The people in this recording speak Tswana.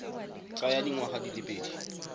tsaya dingwaga di le pedi